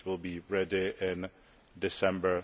that will be ready in December